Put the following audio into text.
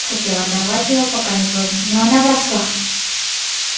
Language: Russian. хотел оторвать её пока не поздно но она вросла